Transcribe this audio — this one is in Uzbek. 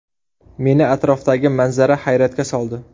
Meni atrofdagi manzara hayratga soldi.